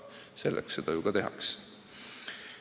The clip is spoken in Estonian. Selle nimel ju tegutsetakse.